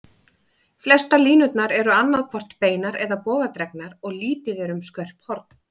Flestar línurnar eru annað hvort beinar eða bogadregnar, og lítið er um skörp horn.